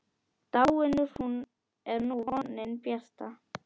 Dáin er nú vonin bjarta.